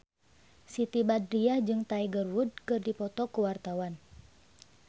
Siti Badriah jeung Tiger Wood keur dipoto ku wartawan